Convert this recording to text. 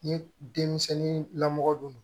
Ni denmisɛnnin lamɔgɔ don